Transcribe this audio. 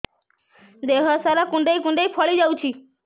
ଦେହ ସାରା କୁଣ୍ଡାଇ କୁଣ୍ଡାଇ ଫଳି ଯାଉଛି